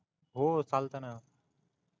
हो चालतय ना